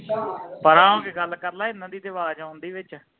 ਪਰਾ ਹੋ ਕੇ ਗੱਲ ਕਰਲਾ ਇਹਨਾਂ ਦੀ ਤੇ ਆਵਾਜ਼ ਆਉਣਦੀ ਵਿਚ